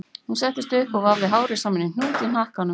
Hún settist upp og vafði hárið saman í hnút í hnakkanum